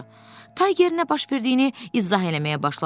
Tayger nə baş verdiyini izah eləməyə başladı.